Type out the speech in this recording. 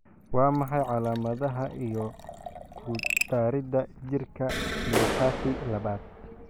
Waa maxay calamadaha iyo calamadaha ku darida jirka myopathy labad?